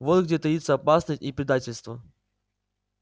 вот где таится опасность и предательство